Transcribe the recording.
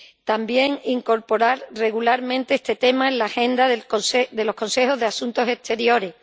También incorporar regularmente este tema en la agenda de los Consejos de Asuntos Exteriores.